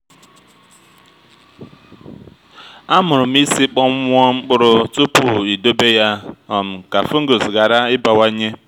amụrụ m isi kpọnwụọ mkpụrụ tupu idobe ya um ka fungus ghara ịbawanye